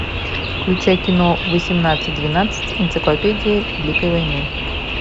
включай кино восемнадцать двенадцать энциклопедия великой войны